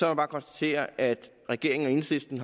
jeg bare konstatere at regeringen og enhedslisten